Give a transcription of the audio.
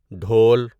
ڈھول